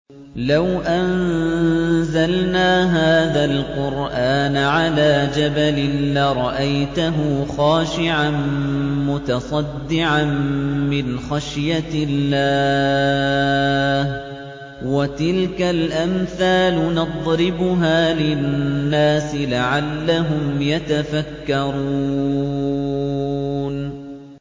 لَوْ أَنزَلْنَا هَٰذَا الْقُرْآنَ عَلَىٰ جَبَلٍ لَّرَأَيْتَهُ خَاشِعًا مُّتَصَدِّعًا مِّنْ خَشْيَةِ اللَّهِ ۚ وَتِلْكَ الْأَمْثَالُ نَضْرِبُهَا لِلنَّاسِ لَعَلَّهُمْ يَتَفَكَّرُونَ